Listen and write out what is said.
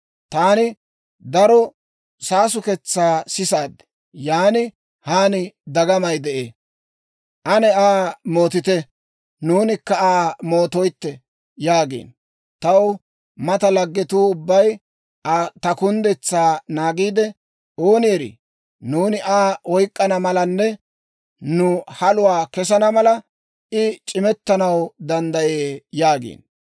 Taani daro saasuketsaa sisaad; «Yaan haan dagamay de'ee! Ane Aa mootite! Nuunikka Aa mootoytte» yaagiino. Taw mata laggetuu ubbay ta kunddetsaa naagiide, «Ooni erii, nuuni Aa oyk'k'ana malanne nu haluwaa kessana mala, I c'imettanaw danddayee» yaagiino.